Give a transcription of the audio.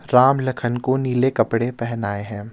राम लखन को नीले कपड़े पहनाए हैं.